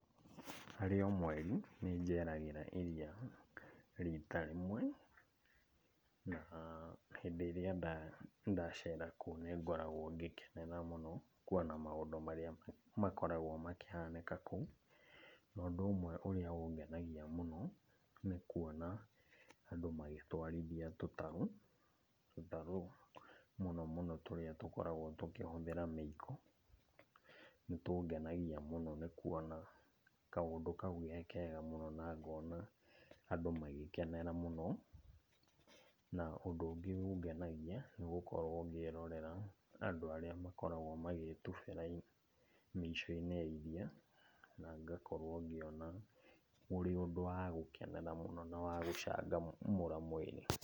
Harĩ o mweri, nĩnjeragĩra iria rita rĩmwe, na hĩndĩ ĩrĩa ndacera kuo nĩngoragwo ngĩkenera mũno kuona maũndũ marĩa makoragwo makĩhanĩka kũu. Na ũndũ ũmwe ũrĩa ũngenagia mũno nĩ kuona andũ magĩtwarithia tũtarũ. Tũtarũ mũno mũno tũrĩa tũkoragwo tũkĩhũthĩra mĩiko, nĩtũngenagia mũno nĩ kuona kaũndũ kau ge kega mũno na ngona andũ magĩkenera mũno. Na ũndũ ũngĩ ũngenagia nĩ gũkorwo ngĩrorera andũ arĩa makoragwo magĩĩtubĩra mĩico-inĩ ya iria, na ngakorwo ngĩona ũrĩ ũndũ wa gũkenera mũno, na wagũcangamũra mwĩrĩ.